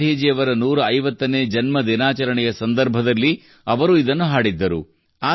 ಗಾಂಧೀಜಿಯವರ 150ನೇ ಜನ್ಮದಿನಾಚರಣೆಯ ಸಂದರ್ಭದಲ್ಲಿ ಅವರು ಇದನ್ನು ಹಾಡಿದ್ದರು